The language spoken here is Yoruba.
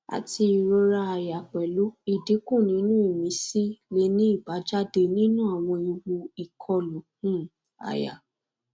ati irora aya pelu idinku ninu imisi le ni ibajade ninu awon ewu ikolu um aya